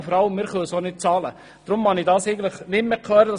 Deshalb mag ich dergleichen eigentlich nicht mehr hören.